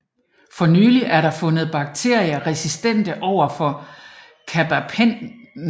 For nylig er der fundet bakterier resistente overfor carbapenemer